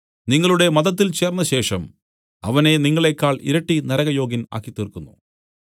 നിങ്ങളുടെ മതത്തിൽ ചേർന്നശേഷം അവനെ നിങ്ങളേക്കാൾ ഇരട്ടി നരകയോഗ്യൻ ആക്കിത്തീർക്കുന്നു